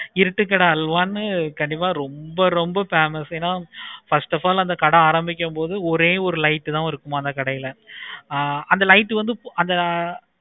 இருட்டு கடை அல்வான்னு ரொம்ப ரொம்ப famous first of all அந்த கடை ஆரம்பிக்கும் பொழுது ஒரே பாரு கடை தானா இருக்குமா அந்த light வந்து